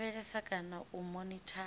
u lavhelesa kana u monithara